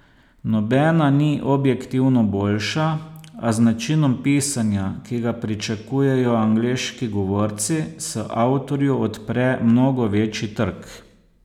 Nobena ni objektivno boljša, a z načinom pisanja, ki ga pričakujejo angleški govorci, se avtorju odpre mnogo večji trg.